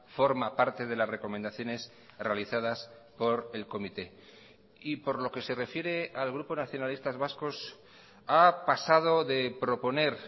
forma parte de las recomendaciones realizadas por el comité y por lo que se refiere al grupo nacionalistas vascos ha pasado de proponer